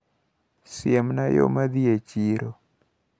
Siemna yo madhi e chiro.